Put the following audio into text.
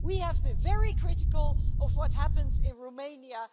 We have to be very critical of what happens in Romania.